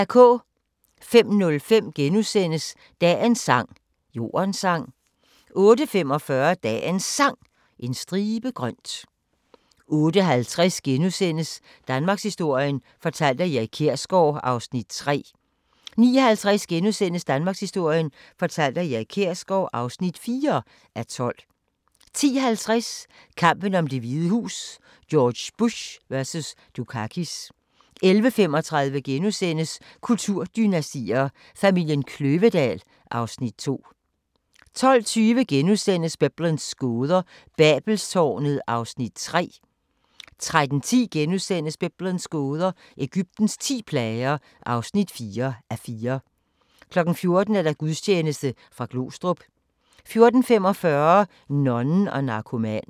05:05: Dagens sang: Jordens sang * 08:45: Dagens Sang: En stribe grønt 08:50: Danmarkshistorien fortalt af Erik Kjersgaard (3:12)* 09:50: Danmarkshistorien fortalt af Erik Kjersgaard (4:12)* 10:50: Kampen om Det Hvide Hus: George Bush vs. Dukakis 11:35: Kulturdynastier: Familien Kløvedal (Afs. 2)* 12:20: Biblens gåder – Babelstårnet (3:4)* 13:10: Biblens gåder – Egyptens ti plager (4:4)* 14:00: Gudstjeneste fra Glostrup 14:45: Nonnen og narkomanen